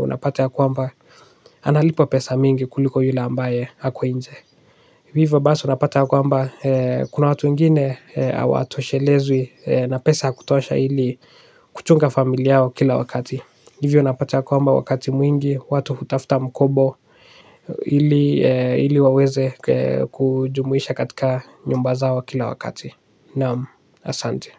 Unapate ya kwamba analipo pesa mingi kuliko yule ambaye hako nje. Hivyo basi unapata ya kwamba kuna watu wengine hawa toshelezwi na pesa ya kutosha ili kuchunga familia yao kila wakati hivyo unapata kwamba wakati mwingi, watu hutafuta mkobo. Ili waweze kujumuisha katika nyumba zao kila wakati. Naam, asante.